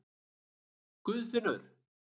Guðfinnur